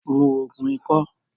Mu Ògùn ikọ́!